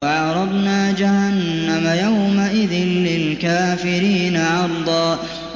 وَعَرَضْنَا جَهَنَّمَ يَوْمَئِذٍ لِّلْكَافِرِينَ عَرْضًا